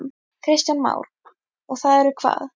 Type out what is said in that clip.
Kristján Már: Og það eru hvað?